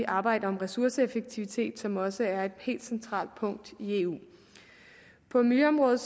arbejde om ressourceeffektivitet som også er et helt centralt punkt i eu på miljøområdet